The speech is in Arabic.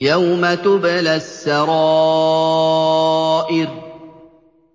يَوْمَ تُبْلَى السَّرَائِرُ